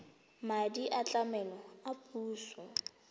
madi a tlamelo a puso